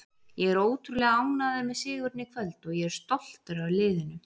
Ég er ótrúlega ánægður með sigurinn í kvöld og ég er stoltur af liðinu.